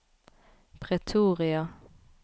Pretoria